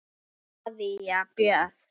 María Björg.